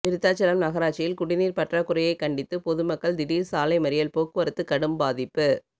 விருத்தாசலம் நகராட்சியில் குடிநீர் பற்றாக்குறையை கண்டித்து பொதுமக்கள் திடீர் சாலை மறியல் போக்குவரத்து கடும் பாதிப்பு